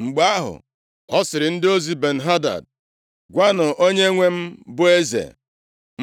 Mgbe ahụ, ọ sịrị ndị ozi Ben-Hadad, “Gwanụ onyenwe m, bụ eze,